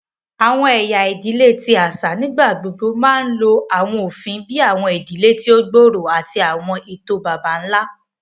Awọn ẹya idile ti aṣa nigbagbogbo pẹlu awọn ofin bii awọn idile ti o gbooro ati awọn eto baba-nla.